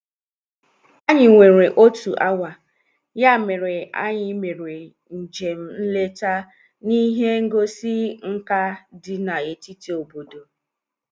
Anyị nwere otu awa, ya mere anyị mere njem nleta n'ihe ngosi nka dị na-etiti obodo.